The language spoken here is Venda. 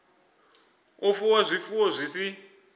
u fuwa zwifuwo zwi si